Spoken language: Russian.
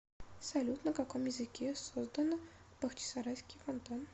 салют на каком языке создано бахчисарайский фонтан